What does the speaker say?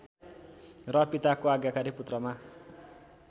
र पिताको आज्ञाकारी पुत्रमा